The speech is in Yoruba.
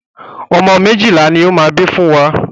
Ọmọ méjìlá ni ó máa bí fún wa.